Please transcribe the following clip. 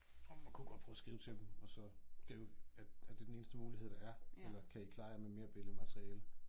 Man kunne godt prøve og skrive til dem og så skrive er er det den eneste mulighed der er eller kan I klare jer med mere billedemateriale